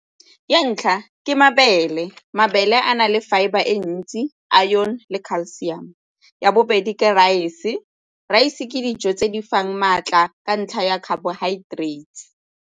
Ya ntlha ke mabele, mabele a na le fibre e ntsi iron le calcium. Ya bobedi ke raese, raese ke dijo tse di fang maatla ka ntlha ya carbohydrates.